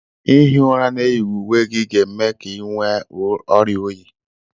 ihi ụra na-eyighị uwe gị ga-eme ka ị nwee oria oyii